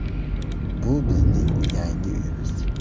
Bu bizning yangi uyimiz.